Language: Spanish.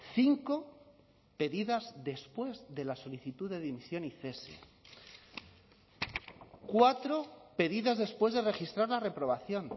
cinco pedidas después de la solicitud de dimisión y cese cuatro pedidas después de registrar la reprobación